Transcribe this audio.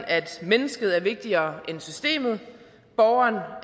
at mennesket er vigtigere end systemet at borgeren